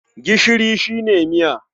Gishiri shi ne miya.